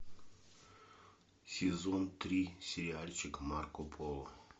сезон три сериальчик марко поло